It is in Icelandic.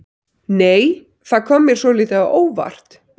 Nei! Það kom mér svolítið á óvart!